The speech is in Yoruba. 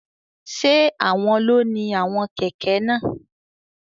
Ṣe awọn lo ní awọn kẹkẹ náà?